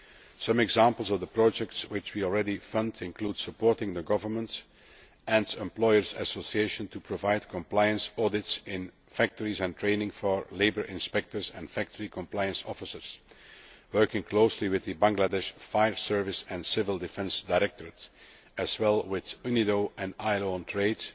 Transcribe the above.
Some examples of the projects which we already fund include supporting the government and employers' associations in order to provide compliance audits in factories and training for labour inspectors and factory compliance officers, and working closely with the Bangladesh Fire Service and Civil Defence Directorate, as well as with UNIDO and the ILO on